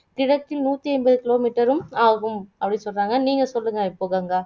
கிழக்கில் நூற்றைம்பத kilometer உம் ஆகும் அப்படிசொல்லுறாங்க நீங்க சொல்லுங்க இப்போ கங்கா